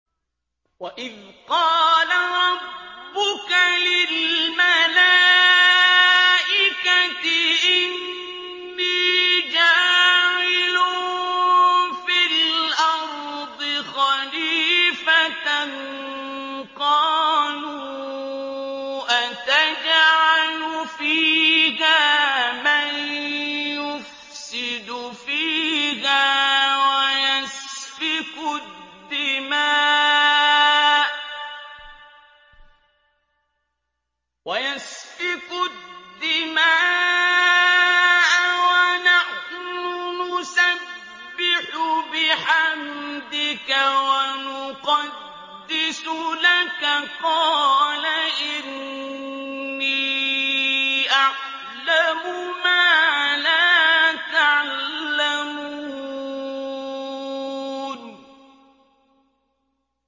وَإِذْ قَالَ رَبُّكَ لِلْمَلَائِكَةِ إِنِّي جَاعِلٌ فِي الْأَرْضِ خَلِيفَةً ۖ قَالُوا أَتَجْعَلُ فِيهَا مَن يُفْسِدُ فِيهَا وَيَسْفِكُ الدِّمَاءَ وَنَحْنُ نُسَبِّحُ بِحَمْدِكَ وَنُقَدِّسُ لَكَ ۖ قَالَ إِنِّي أَعْلَمُ مَا لَا تَعْلَمُونَ